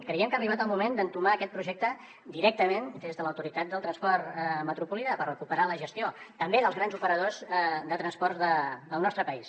creiem que ha arribat el moment d’entomar aquest projecte directament des de l’autoritat del transport metropolità per recuperar ne la gestió també dels grans operadors de transports del nostre país